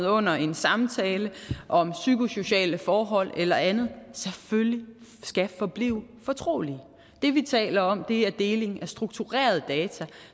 under en samtale om psykosociale forhold eller andet selvfølgelig skal forblive fortrolige det vi taler om er deling af strukturerede data